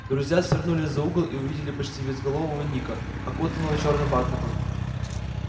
друзья свернули за угол и увидели почти безголового ника окутанного чёрным бархатом